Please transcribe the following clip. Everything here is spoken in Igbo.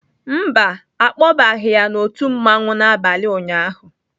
Mba, a kpọbaghị ya n'òtù mmanwụ n'abalị ụnyaahụ.